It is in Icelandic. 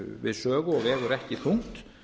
við sögu og vegur ekki þungt